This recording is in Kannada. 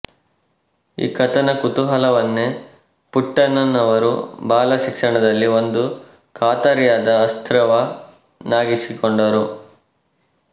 ಈ ಕಥನ ಕುತೂಹಲವನ್ನೇ ಪುಟ್ಟಣ್ಣನವರು ಬಾಲ ಶಿಕ್ಷಣದಲ್ಲಿ ಒಂದು ಖಾತರಿಯಾದ ಅಸ್ತ್ರವನ್ನಾಗಿಸಿಕೊಂಡರು